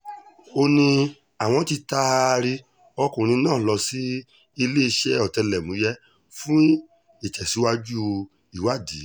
ó ní àwọn tí taari ọkùnrin náà lọ sí iléeṣẹ́ ọ̀tẹlẹ̀múyẹ́ fún ìtẹ̀síwájú ìwádìí